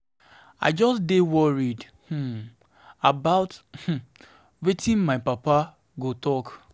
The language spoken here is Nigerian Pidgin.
I just dey worry um about um wetin my papa papa go talk. um